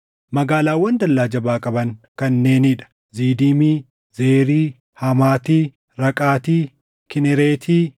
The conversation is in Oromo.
Magaalaawwan dallaa jabaa qaban kanneenii dha: Zidiimi, Zeeri, Hamaati, Raqaati; Kinereeti,